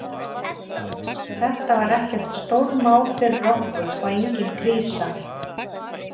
Þetta var ekkert stórmál fyrir okkur og engin krísa.